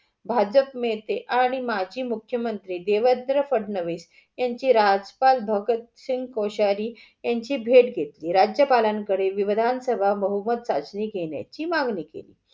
भाजप नेते आणि माझी मुख्यमंत्री देवेन्द्र फडणवीस यांची राजपाल भगत सिंग कोशारी यांची भेट घेतली. राज्यपालांकडे विवधानसभा बहुमत चाचणी घेण्याची मागणी केली.